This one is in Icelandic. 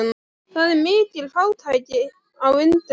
Það er mikil fátækt á Indlandi.